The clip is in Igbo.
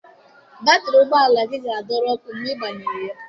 Batrị ụgbọ ala gị ga-adọrọ ọkụ mgbe ị gbanyere ya.